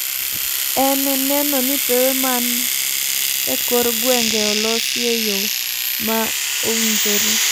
en neno ni pewe man e kor gwenge olosi e yo ma owinire,